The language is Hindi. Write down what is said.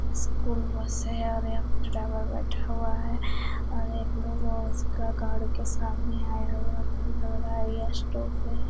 स्कूल बस है और यहां पर ड्राइवर बैठा हुआ है और एक लोग उसका गाड़ी के सामने आया हुआ लग रहा है यह स्टॉप है।